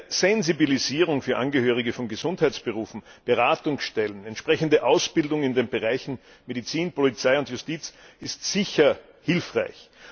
Eine Sensibilisierung der Angehörigen von Gesundheitsberufen, Beratungsstellen, entsprechende Ausbildung in den Bereichen Medizin, Polizei und Justiz ist sicher hilfreich.